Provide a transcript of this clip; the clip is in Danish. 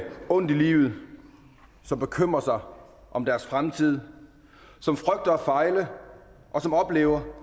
ondt i livet som bekymrer sig om om deres fremtid som frygter at fejle og som oplever